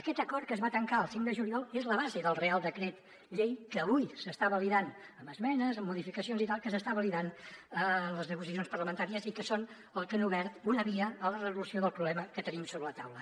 aquest acord que es va tancar el cinc de juliol és la base del reial decret llei que avui s’està validant amb esmenes amb modificacions i tal que s’està validant a les negociacions parlamentàries i que són les que han obert una via a la resolució del problema que tenim sobre la taula